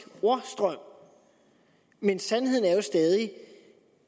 ordstrøm men sandheden er jo stadig